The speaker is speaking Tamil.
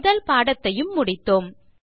முதல் பாடத்தையும் முடித்தோம்